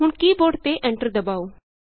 ਹੁਣ ਕੀ ਬੋਰਡ ਤੇ Enterਦਬਾਉ